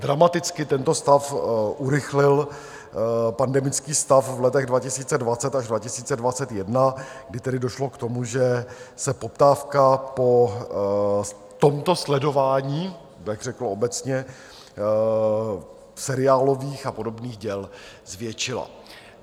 Dramaticky tento stav urychlil pandemický stav v letech 2020 až 2021, kdy tedy došlo k tomu, že se poptávka po tomto sledování, abych řekl obecně, seriálových a podobných děl zvětšila.